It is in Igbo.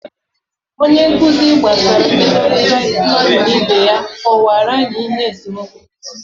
Onye nkuzi gbasara mmekọrịta mmadụ na ibe ya kọwara anyị ihe esemokwu pụtara